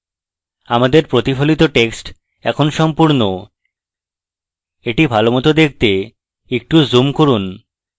আমাদের প্রতিফলিত text এখন সম্পূর্ণ এটি ভালোমত দেখতে একটু zoom করুন